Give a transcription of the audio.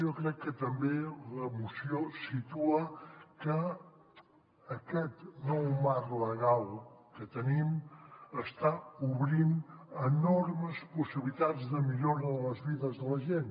jo crec que també la moció situa que aquest nou marc legal que tenim està obrint enormes possibilitats de millora de les vides de la gent